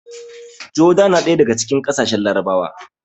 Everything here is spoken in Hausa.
Joda na ɗaya daga cikin ƙasashen Larabawa